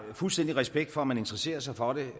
fuldstændig respekt for at man interesserer sig for det